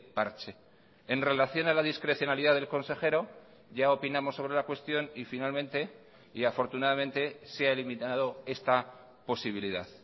parche en relación a la discrecionalidad del consejero ya opinamos sobre la cuestión y finalmente y afortunadamente se ha eliminado esta posibilidad